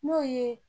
N'o ye